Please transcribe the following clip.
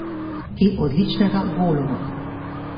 In odličnega Goluma.